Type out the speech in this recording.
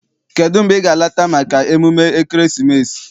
Kedụ mgbe ị ga- alata maka emume ekeresimesi?